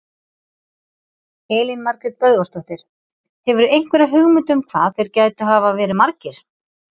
Elín Margrét Böðvarsdóttir: Hefurðu einhverja hugmynd um hvað þeir gætu hafa verið margir?